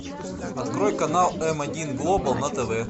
открой канал м один глобал на тв